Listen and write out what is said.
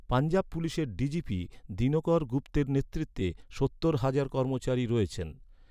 পঞ্জাব পুলিশের ডিজিপি দিনকর গুপ্তের নেতৃত্বে সত্তর হাজার কর্মচারী রয়েছেন।